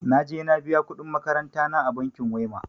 Na je na biya kuɗin makarantana a bankin wema.